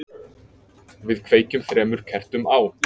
við kveikjum þremur kertum á